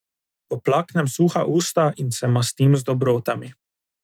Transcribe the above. Poplaknem suha usta in se mastim z dobrotami.